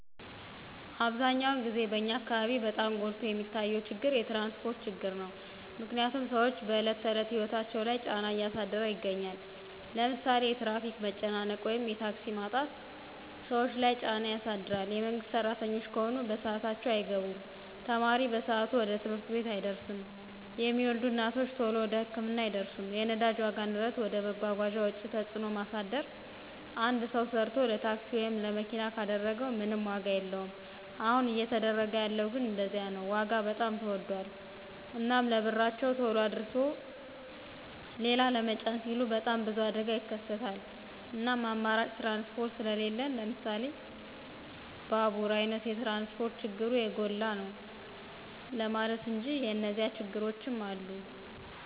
አብዛኛውን ግዜ በኛ አካበቢ በጣም ጎልቶ የሚታየው ችግር የትራንስፖርት ችግር ነው። ምክንያትም ስዎች በዕለት ተዕለት ህይወታቸው ላይ ጫና እያሳደረ ይገኛል። ለምሳሌ የትራፊክ መጨናነቅ ወይም የታክሲ ማጣት ሰዎች ለይ ጫና ያሳድር የመንግስት ስራተኞች ከሆኑ በስአታቸው አይገቡም፣ ተማሪ በሰአቱ ወደ ትምህርት ቤት አይደርስም፣ የሚወልዱ እናቶች ተሎ ወደ ህክምና አይደርሱም። የነዳጅ ዋጋ ንረት ወደ መጓጓዣ ወጪ ተጽዕኖ ማሳደር አንድ ሰው ሰርቶ ለታክሲ ወይም ለመኪና ካደረገው ምንም ዋጋ የለወም አሁን እየተደረገ ያለው ግን እንደዚያ ነው ዋጋ በጣም ተወዶል። እናም ለብርቸው ተሎ አድርሶ ሊላ ለመጫን ሲሉ በጣም ብዙ አደጋ ይከሰታል እናም አማራጭ ትራንስፖርት ስሊለን ለምሳሌ ባቡራ አይነት ትራንስፖርት ችግሩ የጎላ ነው ለማለት እንጂ የኒዚያ ችግሮችም አሉ።